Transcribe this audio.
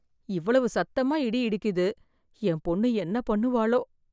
இவ்வளவு சத்தமா இடி இடிக்குது என் பொண்ணு என்ன பண்ணுவாளோ?